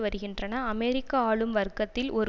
வருகின்றன அமெரிக்க ஆளும் வர்க்கத்தில் ஒரு